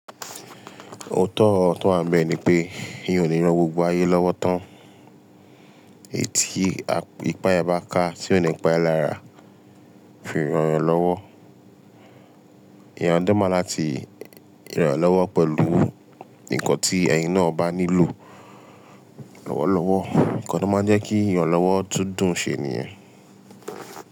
Òótọ́ oro tó wá n bẹ́ẹ̀ ni pé eeyàn ò le ran gbogbo ayé lọ́wọ́ tán. Eyii ti ipá ẹ bá ká, tí ò ní pa ẹ lára, fi rànyan lọ́wọ́. Eeyan de ma láti ranyan lọ́wọ́ pẹ̀lú nǹkan tí ẹ̀yin náà bá nílò lọ́wọ́lọ́wọ́. N kan to máa ń jẹ́ kí ìrànlọ́wọ́ tún dùn ṣe ni yen.